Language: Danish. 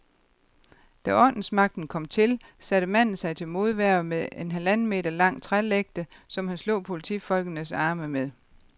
Da ordensmagten kom til, satte manden sig til modværge med en halvanden meter lang trælægte, som han slog politifolkenes arme med.